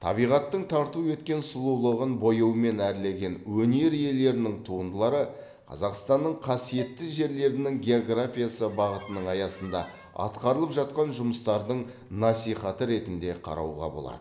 табиғаттың тарту еткен сұлулығын бояумен әрлеген өнер иелерінің туындылары қазақстанның қасиетті жерлерінің географиясы бағытының аясында атқарылып жатқан жұмыстардың насихаты ретінде қарауға болады